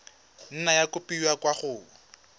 nna ya kopiwa kwa go